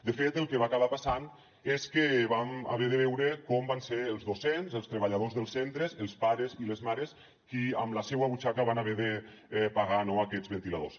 de fet el que va acabar passant és que vam haver de veure com van ser els docents els treballadors dels centres els pares i les mares qui amb la seua butxaca van haver de pagar no aquests ventiladors